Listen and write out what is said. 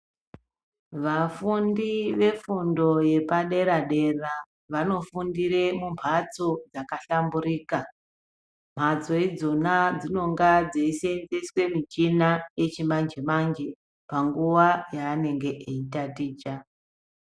Vafundi vefundo yepadera dera Vanofundira mumbatso dzakahlamburika mbatso ndidzona dzinenge dzeisenzeswa muchina yechimanje manje panguwa yanenge eitaticha.